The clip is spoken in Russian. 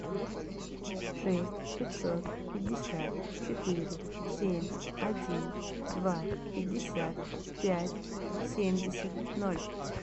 шесть пятьсот пятьдесят четыре семь один два пятьдесят пять семьдесят ноль